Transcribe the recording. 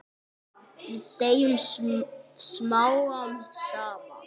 Við deyjum smám saman.